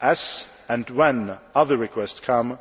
As and when other requests come,